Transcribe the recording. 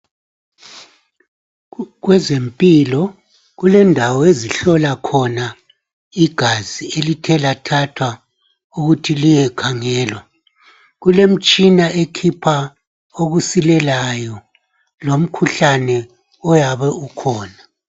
Kweze mpilo kulendawo ezihlola khona igazi, elithe lathathwa ukuthi liyekhangelwa. Kulemtshina ekhipha okusilelayo lomkhuhlane oyabe ukhona.